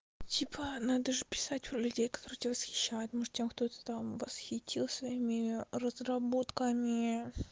типа надо же писать про людей которые тебя восхищают может тем кто-то там восхитил своими разработками